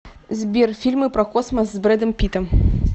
сбер фильмы про космос с брэдом питтом